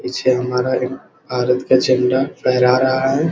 पीछे हमारा एक भारत का झंडा फेहरा रहा है।